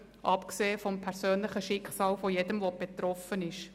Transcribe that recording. abgesehen vom persönlichen Schicksal jedes Betroffenen.